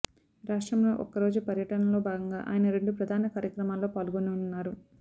రాష్ట్రంలో ఒక్కరోజు పర్యటనలో భాగంగా ఆయన రెండు ప్రధాన కార్యక్రమాల్లో పాల్గొననున్నారు